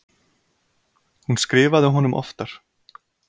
Hún skrifaði honum oftar.